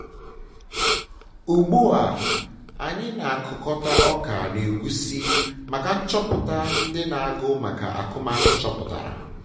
ugbu a anyị na-akụkọta ọka na egusi maka nchọpụta ndị na agụ maka akụmakụ chọpụtara